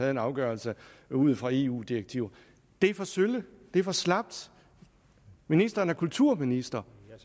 en afgørelse ud fra eu direktiver det er for sølle det er for slapt ministeren er kulturminister